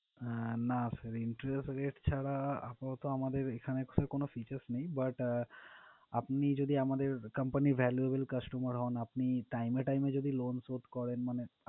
আহ না sir interest rate ছাড়া আপাতত আমাদের এখানে extra features নেই But আপনি যদি আমাদের company's valuable customer হন আপনি time to time যদি loan শোধ করেন মানে,